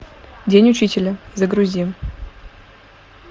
день учителя загрузи